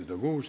Head õhtut!